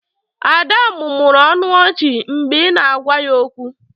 Ada mụmụrụ ọnụ ọchị mgbe ị na-agwa ya okwu.